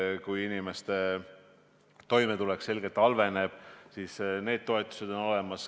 Juhuks, kui inimese toimetulek selgelt halveneb, on toetused olemas.